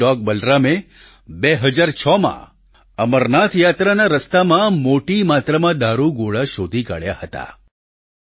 એક ડોગ બલરામે 2006માં અમરનાથ યાત્રાના રસ્તામાં મોટી માત્રામાં દારૂગોળા શોધી કાઢ્યા હતા